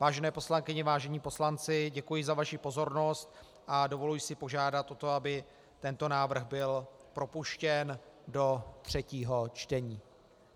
Vážené poslankyně, vážení poslanci, děkuji za vaši pozornost a dovoluji si požádat o to, aby tento návrh byl propuštěn do třetího čtení.